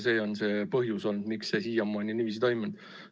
See on olnud põhjus, miks see siiamaani niiviisi on toimunud.